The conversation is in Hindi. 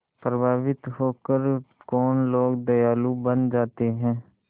प्रभावित होकर कौन लोग दयालु बन जाते हैं